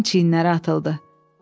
Əjdərin çiyinləri atıldı.